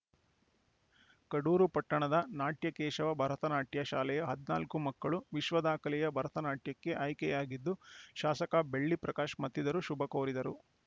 ಕಡೂರು ಪಟ್ಟಣದ ನಾಟ್ಯ ಕೇಶವ ಭರತನಾಟ್ಯ ಶಾಲೆಯ ಹದಿನಾಲ್ಕು ಮಕ್ಕಳು ವಿಶ್ವದಾಖಲೆಯ ಭರತನಾಟ್ಯಕ್ಕೆ ಆಯ್ಕೆಯಾಗಿದ್ದು ಶಾಸಕ ಬೆಳ್ಳಿ ಪ್ರಕಾಶ್‌ ಮತ್ತಿತರರು ಶುಭಕೋರಿದರು